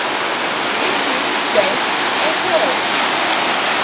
issue date april